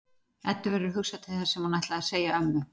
Eddu verður hugsað til þess sem hún ætlaði að segja ömmu.